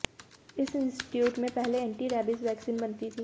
इस इंस्टीच्यूट में पहले एंटी रैबीज वैक्सीन बनती थी